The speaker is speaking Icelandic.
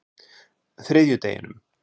þriðjudeginum